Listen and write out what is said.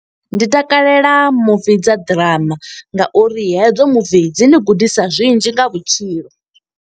Ndi takalela muvi dza ḓirama nga uri hedzo muvi dzi ni gudisa zwinzhi nga vhutshilo.